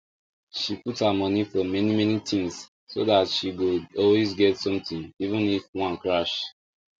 she put her money for many many things so that she go always get something even if one crash